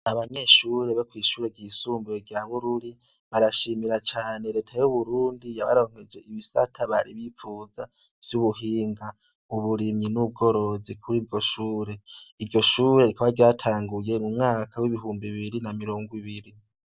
Abanyeshuri bo kwishure ryisumbuye rya bururi barashimira cane reta y'uburundi yabaronkeje ibisata bari bipfuza vy'ubuhinga uburimyi n'ubworozi kuriryo shure iryo shure rikaba ryatanguye mumwaka w' ibihumbi mirongo ibiri.